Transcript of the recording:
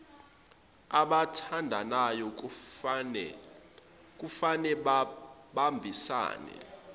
abathandanayo kufane babambisane